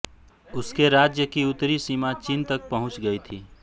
उसके राज्य की उत्तरी सीमा चीन तक पहुँच गई थी